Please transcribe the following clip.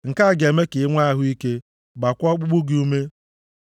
Nke a ga-eme ka i nwee ahụ ike gbaakwa ọkpụkpụ gị ume.